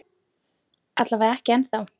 Alla vega ekki ennþá.